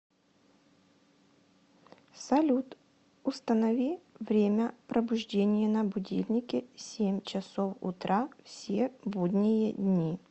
салют установи время пробуждения на будильнике семь часов утра все будние дни